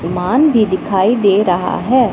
ईमान भी दिखाई दे रहा हैं।